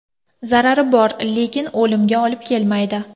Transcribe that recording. Zarari bor, lekin o‘limga olib kelmaydi.